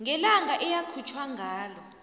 ngelanga eyakhutjhwa ngalo